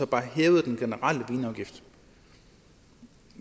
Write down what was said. bare hævede den generelle vinafgift